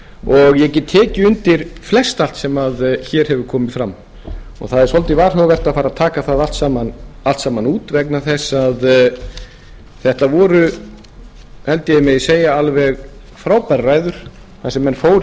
og ég get tekið undir flestallt sem hér hefur komið fram og það er svolítið varhugavert að fara að taka það allt saman út vegna þess að þetta voru held ég megi segja alveg frábærar ræður þar sem menn fóru